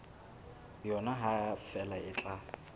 yona ha feela le tla